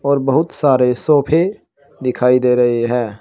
और बहुत सारे सोफे दिखाई दे रहे हैं।